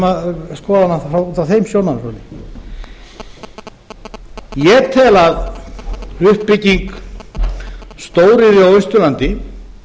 að skoða hana út frá þeim sjónarhóli ég tel að uppbygging stóriðju á austurlandi